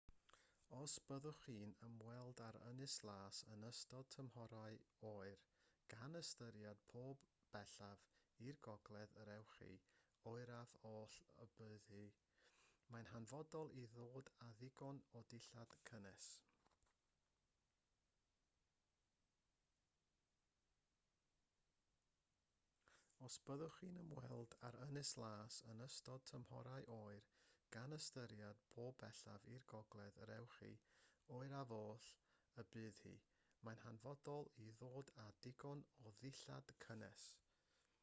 os byddwch chi'n ymweld â'r ynys las yn ystod tymhorau oer gan ystyried po bellaf i'r gogledd yr ewch chi oeraf oll y bydd hi mae'n hanfodol i ddod â digon o ddillad cynnes